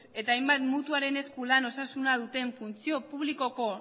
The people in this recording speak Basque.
eta hainbat mutuaren esku lan osasuna duten funtzio publikoko